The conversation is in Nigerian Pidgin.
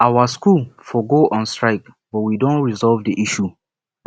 our school for go on strike but we don resolve the issue